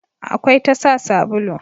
akwai tasa sabulu